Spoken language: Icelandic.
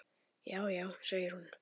Já, já segir hún.